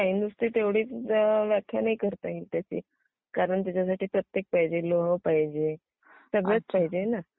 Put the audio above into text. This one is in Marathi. नाही .. नुसती तेवढीच व्याख्या नाही करता येत त्याची कारण शरीरात प्रत्येक पाहिजे- लोह पाहिजे.. सगळंच पाहिजे ना?